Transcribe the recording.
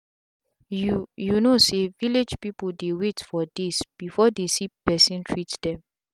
youyou know say village people dey wait for days before they see person treat them.